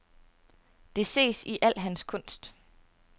Det ses i al hans kunst.